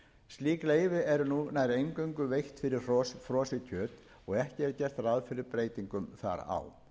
slík leyfi eru nú nær eingöngu veitt fyrir frosið kjöt og ekki er gert ráð fyrir breytingum þar á